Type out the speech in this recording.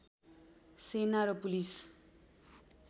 सेना र पुलिस